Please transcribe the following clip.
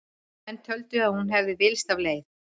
Menn töldu að hún hefði villst af leið.